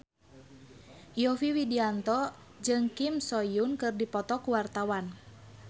Yovie Widianto jeung Kim So Hyun keur dipoto ku wartawan